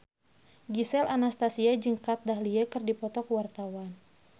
Gisel Anastasia jeung Kat Dahlia keur dipoto ku wartawan